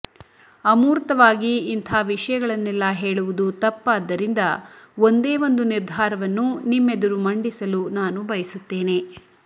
ಅಮೂರ್ತವಾಗಿ ಇಂಥ ವಿಷಯಗಳನ್ನೆಲ್ಲ ಹೇಳುವುದು ತಪ್ಪಾದ್ದರಿಂದ ಒಂದೇ ಒಂದು ನಿರ್ಧಾರವನ್ನು ನಿಮ್ಮೆದುರು ಮಂಡಿಸಲು ನಾನು ಬಯಸುತ್ತೇನೆ